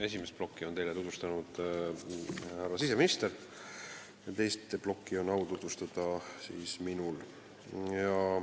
Esimest plokki on teile tutvustanud härra siseminister ja teist plokki on au tutvustada minul.